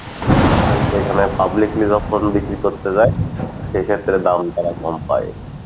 কিন্তু এখানে publicly যখন বিক্রি করতে যাই সেইক্ষেত্রে দাম তারা কম পাই।